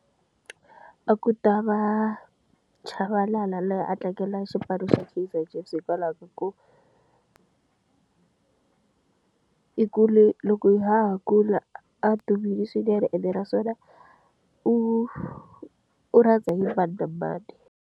A ku ta va Chabalala laha a tlangela xipano xa Kaizer Chiefs hikwalaho ka ku i kule loko ha ha kula a dumile swinene ene na swona u u rhandza hi mani na mani.